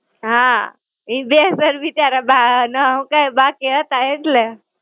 હાં, ઈ બે sir બિચારા બા ના હું કે બાકી હતા એટલે.